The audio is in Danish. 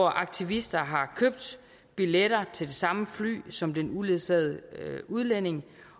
at aktivister har købt billetter til det samme fly som den uledsagede udlænding